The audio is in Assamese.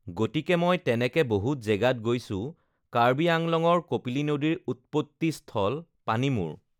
গতিকে মই তেনেকে বহুত জেগাত গৈছোঁ কাৰ্বি আংলঙৰ কপিলী নদীৰ উৎপত্তিস্থল পানীমূৰ